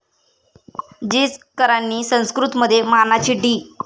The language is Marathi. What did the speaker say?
जिचकरांनी संस्कृतमध्ये मानाची डी.